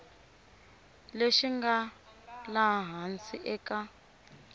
lexi nga laha hansi eka